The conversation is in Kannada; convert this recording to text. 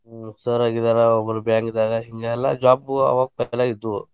ಹ್ಮ್‌ sir ಆಗಿದಾರ ಒಬ್ರ bank ದಾಗ ಹಿಂಗ ಎಲ್ಲಾ job ಗು ಅವಾಗ ಇದ್ದು.